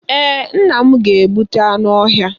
Ee, nna m ga-egbute anụ ọhịa.